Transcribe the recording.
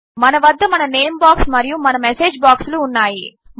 మన వద్ద మన నేమ్ బాక్స్ మరియు మన మెసేజ్ బాక్స్ లు ఉన్నాయి